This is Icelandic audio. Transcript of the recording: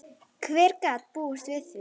Hver gat búist við því?